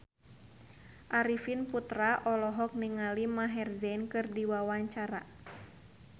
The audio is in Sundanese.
Arifin Putra olohok ningali Maher Zein keur diwawancara